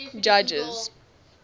judges